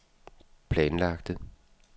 planlagte